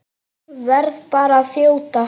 Verð bara að þjóta!